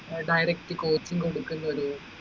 direct cost ഉം കൊടുക്കുന്നത്